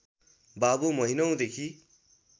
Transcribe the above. बाबु महिनौंदेखि